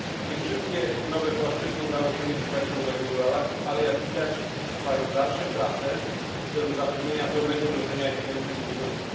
Nie wszystkie nowe płaszczyzny udało się w międzyczasie uregulować, ale jak widać trwają dalsze prace w celu zapewnienia pełnego wdrożenia istniejących już umów.